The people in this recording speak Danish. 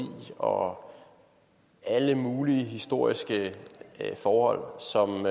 og alle mulige historiske forhold som